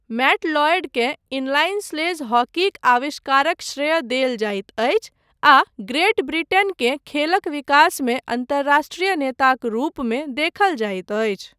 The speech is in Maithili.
मैट लॉयडकेँ इनलाइन स्लेज हॉकीक आविष्कारक श्रेय देल जाइत अछि आ ग्रेट ब्रिटेनकेँ खेलक विकासमे अन्तर्राष्ट्रीय नेताक रूपमे देखल जाइत अछि।